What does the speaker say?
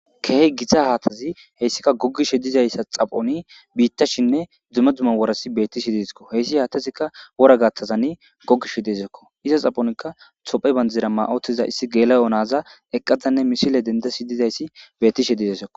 kehi gitta haththazi heyssika goggishe dizzayisa xaphoni bitashine duma duma worazi betishe dessiko hessi haththezika wora gaththizan gogishe dessiko iza garssenika etiophya bandira mayi uttida gela'o na'aza eqqada missile denddashe dizzayisi bettishe dizzayisakko.